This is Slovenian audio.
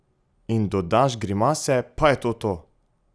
In dodaš grimase, pa je to to!